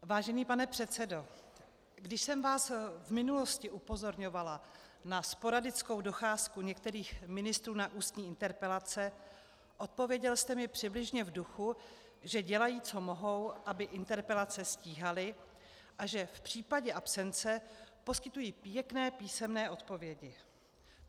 Vážený pane předsedo, když jsem vás v minulosti upozorňovala na sporadickou docházku některých ministrů na ústní interpelace, odpověděl jste mi přibližně v duchu, že dělají, co mohou, aby interpelace stíhali, a že v případě absence poskytují pěkné písemné odpovědi.